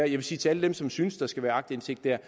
vil sige til alle dem som synes at der skal være aktindsigt der